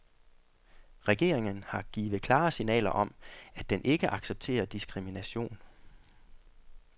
Regeringen har givet klare signaler om, at den ikke accepterer diskrimination.